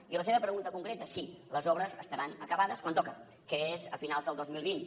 i la seva pregunta concreta sí les obres estaran acabades quan toca que és a finals del dos mil vint